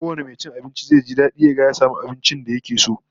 Kowane mai cin abinci zai ji dadi ya ga ya samu abincin da yake so